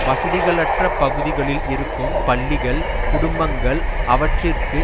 வசதிகளற்ற பகுதிகளில் இருக்கும் பள்ளிகள் குடும்பங்கள் அவற்றிற்கு